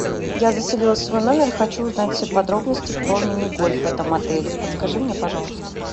я заселилась в свой номер хочу узнать все подробности про мини гольф в этом отеле подскажи мне пожалуйста